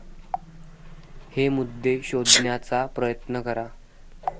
हे मुद्दे शोधण्याचा प्रयत्न करा